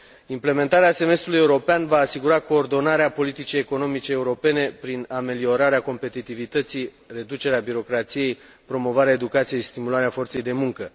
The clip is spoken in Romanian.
Implementarea Semestrului european va asigura coordonarea politicii economice europene prin ameliorarea competitivității, reducerea birocrației, promovarea educației și stimularea forței de muncă.